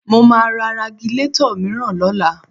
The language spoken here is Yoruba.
Mo máa ra Ragilatọ̀ mìíràn lọ́la